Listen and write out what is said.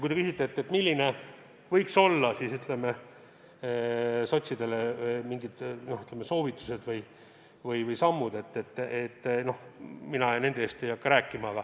Kui te küsite, millised võiksid olla soovitused sotsidele, siis mina ju nende eest ei hakka rääkima.